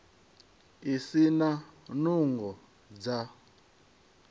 a si na nungo dza